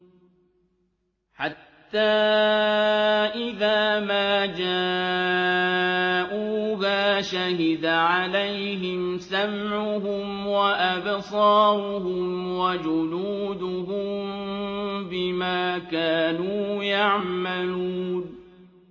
حَتَّىٰ إِذَا مَا جَاءُوهَا شَهِدَ عَلَيْهِمْ سَمْعُهُمْ وَأَبْصَارُهُمْ وَجُلُودُهُم بِمَا كَانُوا يَعْمَلُونَ